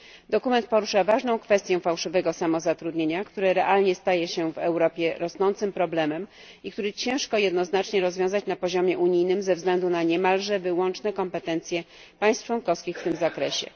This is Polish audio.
Dokument porusza ważną kwestię fałszywego samozatrudnienia, które realnie staje się w Europie rosnącym problemem i który ciężko jednoznacznie rozwiązać na poziomie unijnym ze względu na niemalże wyłączne kompetencje państw członkowskich w tym zakresie.